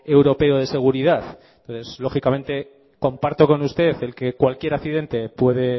europeo de seguridad pues lógicamente comparto con usted el que cualquier accidente puede